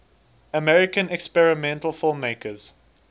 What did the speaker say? american experimental filmmakers